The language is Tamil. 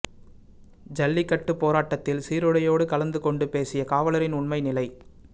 ஜல்லிக்கட்டுப் போராட்டத்தில் சீருடையோடு கலந்து கொண்டு பேசிய காவலரின் உண்மை நிலை